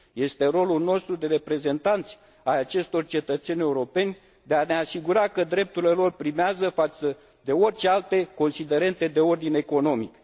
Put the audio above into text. Este rolul nostru de reprezentanți ai acestor cetățeni europeni să ne asigurăm că drepturile lor primează față de orice alte considerente de ordin economic.